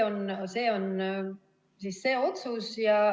See on see otsus.